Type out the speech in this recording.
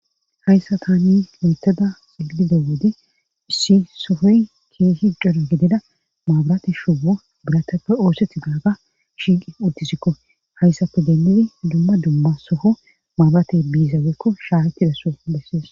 hayssa tani loteda ilide woode issi sofoy keeshi cora gidida maabirati shuwo biratappe oosethi daaga shiiqi uddisikko hayssape demmidi dumma dumma soho maabiratey biizaweekko shaattidasoo bessees